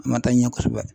A ma taa ɲɛ kosɛbɛ